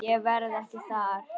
Ég verð ekki þar.